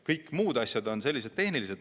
Kõik muud asjad on sellised tehnilised.